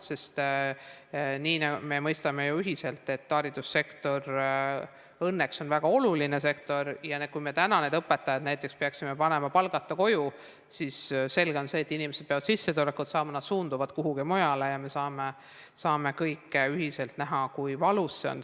Me mõistame õnneks ju ühiselt, et haridussektor on väga oluline sektor ja kui me täna õpetajad näiteks peaksime saatma palgata koju, siis selge on see, et kuna inimesed peavad sissetulekut saama, nad suunduvad kuhugi mujale ja me saame kõik ühiselt näha, kui valus see on.